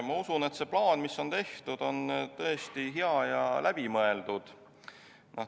Ma usun, et see plaan, mis on tehtud, on tõesti hea ja läbimõeldud.